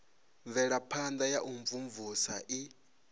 mvelaphana ya u imvumvusa i